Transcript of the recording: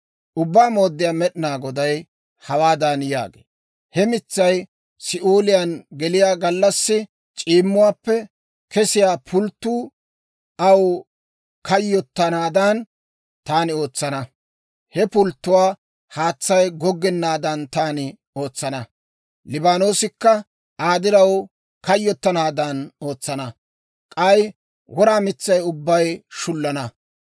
« ‹Ubbaa Mooddiyaa Med'inaa Goday hawaadan yaagee; «He mitsay Si'ooliyaan geliyaa gallassi c'iimmuwaappe kesiyaa pulttotuu aw kayyottanaadan taani ootsana; he pulttotuwaa haatsay goggennaadan taani ootsana; Liibaanoosikka Aa diraw kayyottanaadan ootsana. K'ay wora mitsay ubbay shullana.